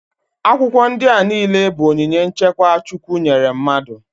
Akwụkwọ ndị a niile bụ onyinye nchekwa Chukwu nyere mmadụ.